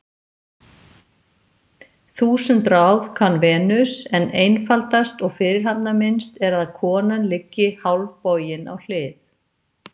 Þúsund ráð kann Venus, en einfaldast og fyrirhafnarminnst er að konan liggi hálfbogin á hlið.